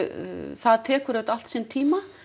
það tekur auðvitað allt sinn tíma